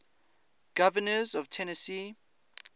governors of tennessee